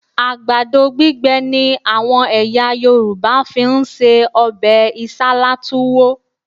Àgbàdo gbígbẹ ni àwọn ẹ̀yà Yorùbá fi ń se ọbẹ̀ Isálá Túwó